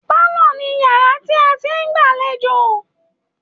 Pálọ̀ ni yàrá tí a ti ń gbàlejò